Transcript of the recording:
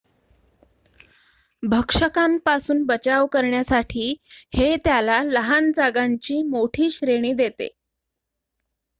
भक्षकांपासून बचाव करण्यासाठी हे त्याला लहान जागांची मोठी श्रेणी देते